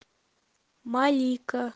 малика